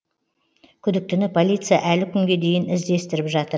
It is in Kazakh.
күдіктіні полиция әлі күнге дейін іздестіріп жатыр